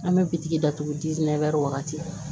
An bɛ bitigi datugu wagati